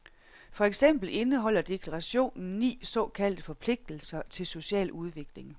For eksempel indeholder deklarationen ni såkaldte forpligtelser til social udvikling.